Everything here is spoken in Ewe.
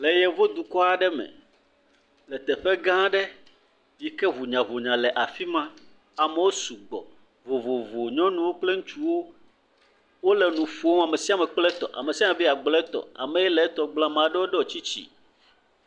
Le yevu dukɔ aɖe me le teƒe gã aɖe yi ke ʋunya ʋunya le afima amewo su gbɔ vovovo nyɔnu wo kple ŋutsu wo wo le nu ƒom amesiame be ya gblɔ e tɔ ameaɖe wo dɔ tsitsi.